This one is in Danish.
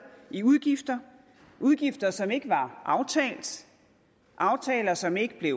i udgifter udgifter som ikke var aftalt aftaler som ikke blev